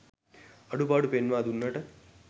අඩු පාඩු පෙන්වා දුන්නට